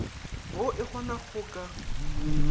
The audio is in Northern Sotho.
woo e kgonago go ka